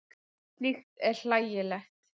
Slíkt er hlægilegt.